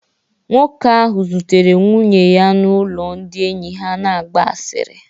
Nwoke ahụ zutere nwunye ya n'ụlọ ndị enyi ha na-agba asịrị